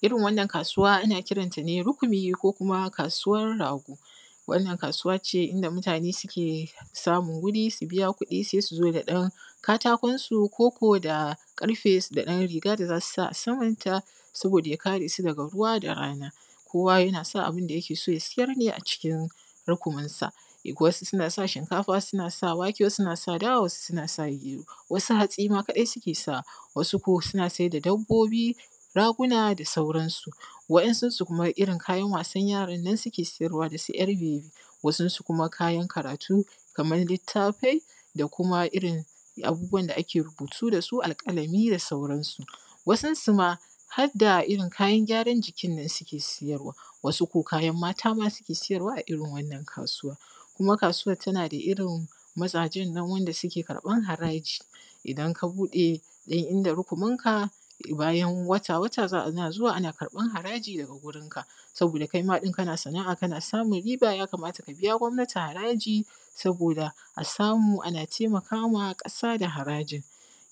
irin wannan kasuwa ana kira ta ne rukumi ko kuma kasuwar rago wannan kasuwa ce inda mutane suke samun wuri su biya kuɗi sai su zo da ɗan katakon su ko da ƙarfe da ɗan riga da za su sa a samanta saboda ya kare su daga ruwa da rana kowa yana sa abinda yake so ya siyar ne a cikin rukuminsa wasu suna sa shinkafa wasu suna sa wake wasu suna sa dawa wasu suna sa gero wasu hatsi ma kadai suke sawa wasu ko suna saida dabbobi raguna da sauransu wainsun su kuma irin kayan wasan yaran nan suke siyarwa da su yar bebi wasu kuma kayan karatu kamar littafai da kuma irin abubuwan da ake rubutu da su alƙalami da sauransu wasu ma harda irin kayan gyaran jikin nan suke siyarwa wasu ko kayan mata ma suke siyarwa a irin wannan kasuwar kuma kasuwar tana da irin maza nan wanda suke karɓan haraji idan ka buɗe ɗan inda rukuminka bayan wata wata za a ana zuwa ana karɓan haraji daga gurinka saboda kaima kana sanaa kana samun riba ya kamata ka biya gwamnati haraji saboda a samu ana taimaka ma ƙasa da harajin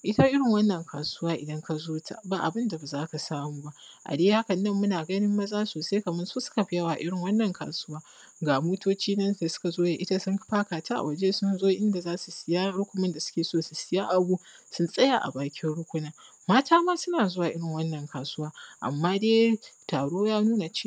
ita irin wannan kasuwa idan ka zo ta ba abin da ba za ka samu ba a dai haka nan muna ganin maza sosai kamar su suka fi yawa irin wannan kasuwa ga motoci nan da suka zo da ita sun faka ta a waje sun zo inda za su siyar rukumin da suke so su siyar a gun sun tsaya a bakin rukumin mata ma suna zuwa irin wannan kasuwa amma dai taro ya nuna cewa